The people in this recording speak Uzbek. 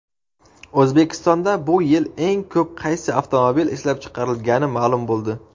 O‘zbekistonda bu yil eng ko‘p qaysi avtomobil ishlab chiqarilgani ma’lum bo‘ldi.